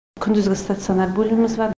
күндізгі стационар бөліміз бар